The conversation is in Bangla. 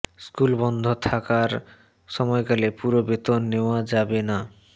স্কুল বন্ধ থাকারয় সময়কালে পুরো বেতন নেওয়া যাবে না